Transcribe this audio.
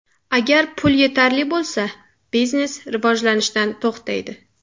Agar pul yetarli bo‘lsa, biznes rivojlanishdan to‘xtaydi.